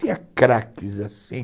Tinha craques assim.